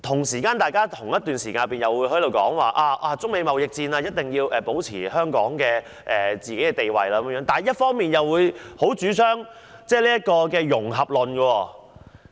此外，大家一方面說，香港在中美貿易戰中必須保持其地位，但另一方面又強烈主張"融合論"。